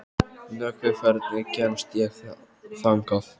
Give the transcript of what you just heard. Nökkvi, hvernig kemst ég þangað?